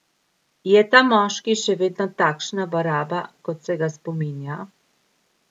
Je ta moški še vedno takšna baraba, kot se ga spominja?